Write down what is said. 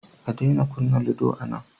A daina kunna ludo anan